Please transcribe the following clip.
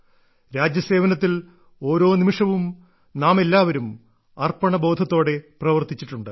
രാജ്യസേവനത്തിൽ ഓരോ നിമിഷവും നാമെല്ലാവരും അർപ്പണബോധത്തോടെ പ്രവർത്തിച്ചിട്ടുണ്ട്